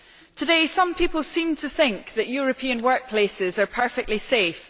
Today some people seem to think that European workplaces are perfectly safe.